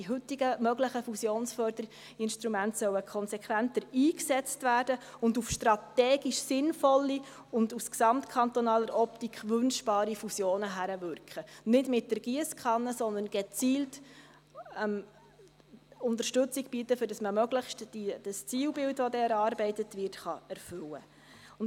Die heute möglichen Fusionsförderinstrumente sollen konsequenter eingesetzt werden und auf strategisch sinnvolle und aus gesamtkantonaler Optik wünschbare Fusionen hinwirken, nicht mit der Giesskanne, sondern gezielte Unterstützung bieten, damit man das Zielbild, das dann erarbeitet wird, möglichst erfüllen kann.